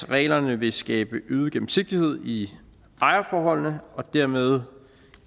reglerne vil skabe øget gennemsigtighed i ejerforholdene og dermed